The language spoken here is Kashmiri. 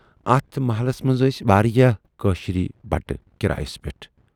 اَتھ محلس منز ٲسۍ واریاہ کٲشِرۍ بٹہٕ کِرایَس پٮ۪ٹھ۔